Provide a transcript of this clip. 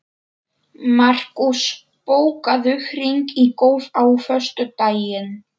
Markús, bókaðu hring í golf á föstudaginn.